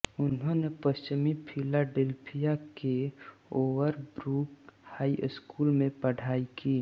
उन्होंने पश्चिमी फिलाडेल्फिया के ओवरब्रूक हाईस्कूल में पढाई की